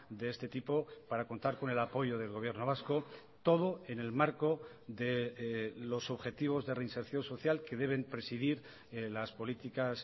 de este tipo para contar con el apoyo del gobierno vasco todo en el marco de los objetivos de reinserción social que deben presidir las políticas